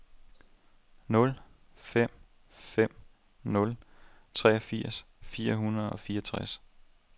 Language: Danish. nul fem fem nul treogfirs fire hundrede og fireogtres